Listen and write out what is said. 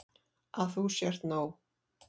Að þú sért nóg.